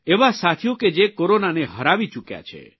એવા સાથીઓ કે જે કોરોનાને હરાવી ચૂકયા છે